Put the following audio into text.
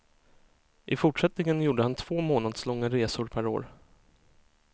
I fortsättningen gjorde han två månadslånga resor per år.